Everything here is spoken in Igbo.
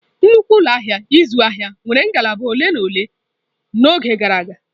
Nnukwu ụlọ ahịa ịzụ ahịa nwere ngalaba ole na ole n'oge gara aga.